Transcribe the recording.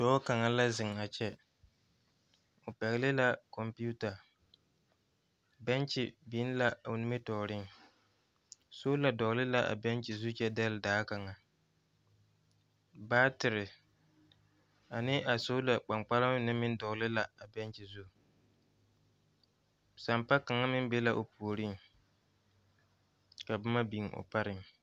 Doɔ kanga la zeŋ a kyɛ. O pɛgle la konputa. Bɛnkye biŋ la o nimitooreŋ. Sola dogle la a bɛnkye zu kyɛ dɛle daa kanga. Baatere ane a sola kpankparema mene meŋ dogle la a bɛnkye zu. Sampa kanga meŋ be la o pooreŋ. Ka boma biŋ o pareŋ.